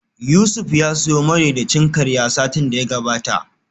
Yusuf ya siyo madaidaicin karya satin da ya gabata